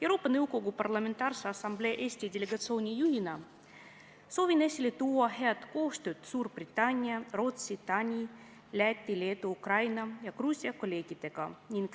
Euroopa Nõukogu Parlamentaarse Assamblee Eesti delegatsiooni juhina soovin esile tuua head koostööd Suurbritannia, Rootsi, Taani, Läti, Leedu, Ukraina ja Gruusia kolleegidega.